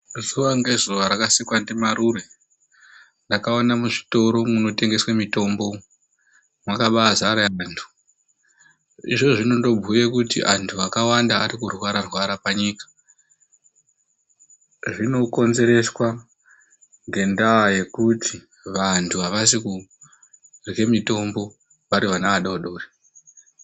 Zuwa ngezuwa rakasikwa ndiMarure, ndakaona muzvitoro munotengeswa mitombo makabaazara antu. Izvozvo zvinondobhuya kuti antu akawanda ari kurwara-rwara panyika. Zvinokonzereswa ngendaa yekuti vantu avasi kurye mutombo vari vana vadoodori.